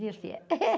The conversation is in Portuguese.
viu, filha?